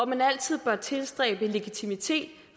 man altid bør tilstræbe en legitimitet